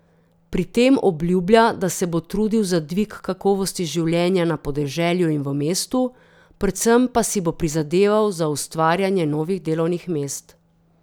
Pri tem obljublja, da se bo trudil za dvig kakovosti življenja na podeželju in v mestu, predvsem pa si bo prizadeval za ustvarjanje novih delovnih mest.